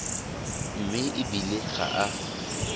mme e bile ga a